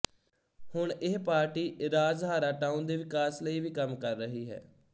ਹੁਣ ਇਹ party Rajhara town ਦੇ ਵਿਕਾਸ ਲਈ ਵੀ ਕੰਮ ਕਰ ਰਹੀ ਹੈ